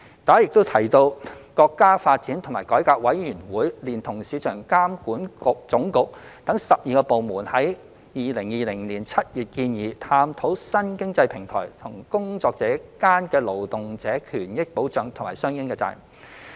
大家也有提及，國家發展和改革委員會連同國家市場監督管理總局等12個部門，於2020年7月建議探討新經濟平台與工作者間的勞動者權益保障和相應責任。